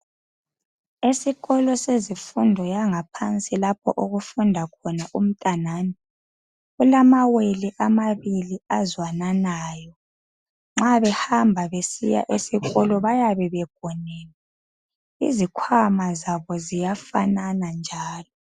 Esikolo sezifundo yangaphansi lapho okufunda khona umntanami kulamawele amabili azwananayo. Nxa behamba besiya esikolo bayabe begonene, izikhwama zabo ziyafanana njalo.